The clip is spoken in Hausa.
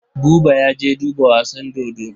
Buba ya je duba wasan dodo.